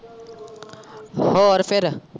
ਹੋਰ ਫੇਰ।